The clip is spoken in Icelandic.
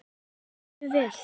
Hann sér mjög vel.